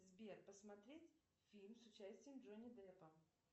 сбер посмотреть фильм с участием джонни деппа